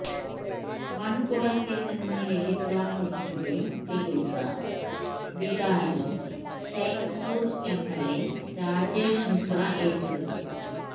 മണ്കുടത്തില് നിന്ന് ലഭിച്ച കുഞ്ഞിന്റെ ചികില്സ ബിതാരി ചൈന്പൂര് എംഎല്എ രാജേഷ് മിശ്ര ഏറ്റെടുത്തു